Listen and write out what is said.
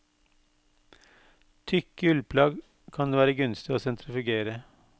Tykke ullplagg kan det være gunstig å sentrifugere.